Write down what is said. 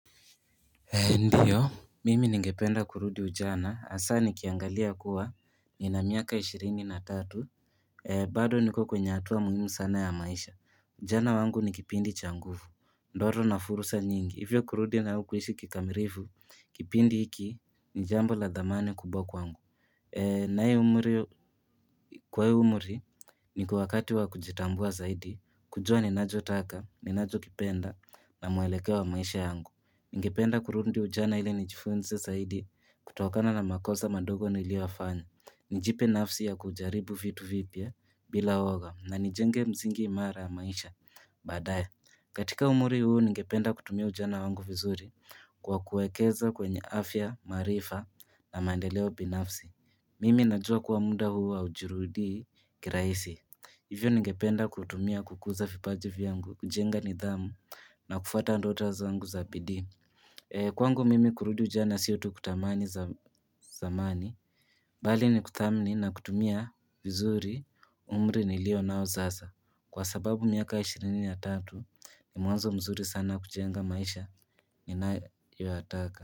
Ndiyo, mimi ningependa kurudi ujana. Asa nikiangalia kuwa nina miaka 23. Bado niko kwenye hatua muhimu sana ya maisha. Ujana wangu ni kipindi changuvu. Ndoto na fursa nyingi. Hivyo kurudi nao kuishi kikamirifu, kipindi hiki, nijambo la dhamani kubwa kwangu. Nae umuri, kwa hi umuri, niko wakati wa kujitambua zaidi, kujua ninacho taka, ninacho kipenda na mwelekeo wa maisha yangu. Ningependa kurundi ujana ile nijifunze zaidi, kutokana na makosa madogo nilioyafanya. Nijipe nafsi ya kujaribu vitu vipya, bila uwoga, na nijenge msingi mara maisha, baadaya. Katika umuri huu ningependa kutumia ujana wangu vizuri kwa kuekeza kwenye afya, maarifa na mandeleo binafsi. Mimi najua kuwa muda huu haujirudii kiraisi. Hivyo ningependa kutumia kukuza vipaji vyangu, kujenga nidhamu na kufuata ndoto zangu za bidii. Kwangu mimi kurudi ujana sio tu kutamani zamani, bali ni kuthamini na kutumia vizuri umri nilio nao sasa. Kwa sababu miaka ya ishirini ya tatu ni mwanzo mzuri sana kujenga maisha inaoiwataka.